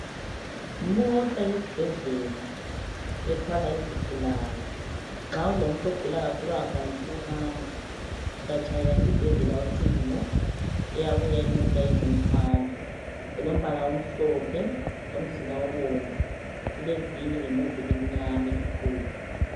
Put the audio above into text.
Imota yesibhedlela ethwala izigulane nxa kulomuntu ogula kakhulu engakwanisi ukuhamba uyatshayela isibhedlela ucingo iyabuya imota izomthwala. Ilombala omhlophe lomzimba obomvu, ilevili ngemuva elimnyama elikhulu